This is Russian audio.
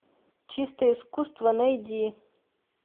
чистое искусство найди